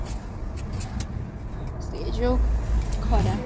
ସେ ଯୋଉ ଖରା